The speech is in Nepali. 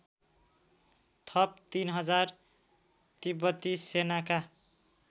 थप ३००० तिब्बती सेनाका